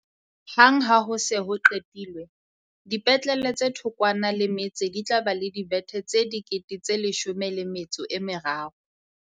Hang ha ho se ho qetilwe, dipetlele tse thokwana le metse di tla ba le dibethe tse13 000.